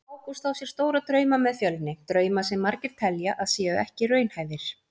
Ágúst á sér stóra drauma með Fjölni, drauma sem margir telja að séu ekki raunhæfir.